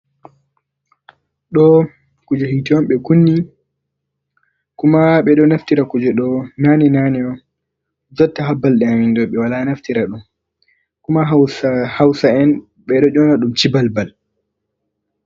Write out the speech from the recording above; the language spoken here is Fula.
Ɗo kuje hite on ɓe kunni kuma ɓeɗo naftira kuje ɗo nane nane on, jotta ha balɗe aminɗo ɓe wala naftira ɗum, kuma hausa'en bedo jona ɗum cibalbal.